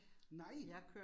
Nej